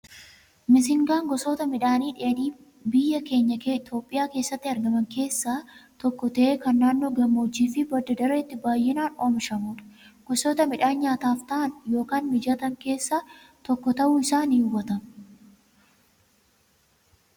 Misingaan gosoota midhaanii dheedhii biyya keenya Itoophiyaa keessatti argaman keessaa tokko ta'ee kan naannoo hammoojjii fi badda dareetti baayyinaan oomishamudha. Gosoota midhaanii nyaataaf ta'an ykn mijatan keessaa isa tokko ta'uu isaa ni hubatama.